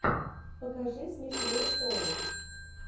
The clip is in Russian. покажи смешные шоу